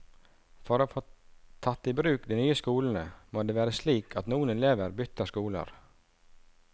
For å få tatt i bruk de nye skolene, må det være slik at noen elever bytter skoler.